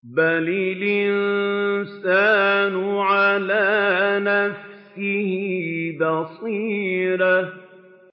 بَلِ الْإِنسَانُ عَلَىٰ نَفْسِهِ بَصِيرَةٌ